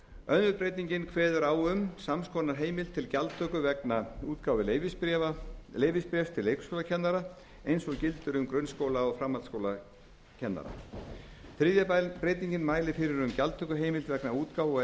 önnur breytingin kveður á um sams konar heimild til gjaldtöku vegna útgáfu leyfisbréfs til leikskólakennara eins og gildir um grunnskóla og framhaldsskólakennara þriðja breytingin mælir fyrir um gjaldtökuheimild vegna útgáfu og